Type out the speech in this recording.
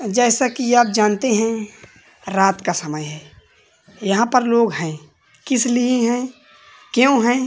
जैसा कि आप जानते हैं रात का समय है। यहां पर लोग हैं। किस लिए हैं क्यू हैं।